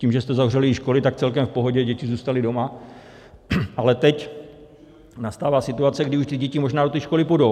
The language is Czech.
Tím, že jste zavřeli i školy, tak celkem v pohodě děti zůstaly doma, ale teď nastává situace, kdy už ty děti možná do té školy půjdou.